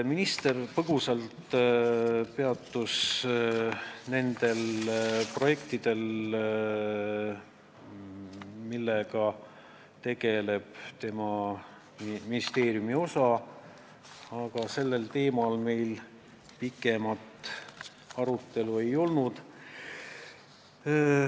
Minister peatus põgusalt ka nendel projektidel, millega tema ministeeriumi osa tegeleb, aga sellel teemal meil pikemat arutelu ei olnud.